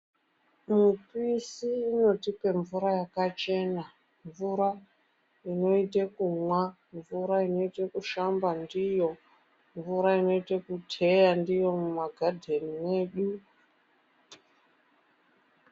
Mupisi inotipe mvura yakachena. Mvura inoite kumwa, mvura inoite kushamba ndiyo. Mvura inoite kuteya ndiyo mumagadheni mwedu.